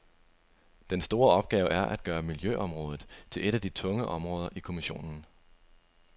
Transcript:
Den store opgave er at gøre miljøområdet til et af de tunge områder i kommissionen.